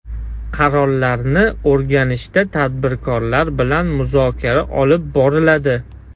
Qarorlarni o‘rganishda tadbirkorlar bilan muzokara olib boriladi.